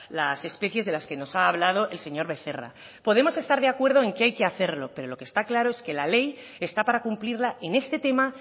las especies de las que nos ha hablado el señor becerra podemos estar de acuerdo en que hay que hacerlo pero lo que está claro es que la ley está para cumplirla en este tema